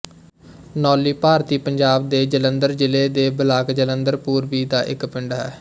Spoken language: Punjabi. ਨੌਲੀ ਭਾਰਤੀ ਪੰਜਾਬ ਦੇ ਜਲੰਧਰ ਜ਼ਿਲ੍ਹੇ ਦੇ ਬਲਾਕ ਜਲੰਧਰ ਪੂਰਬੀ ਦਾ ਇੱਕ ਪਿੰਡ ਹੈ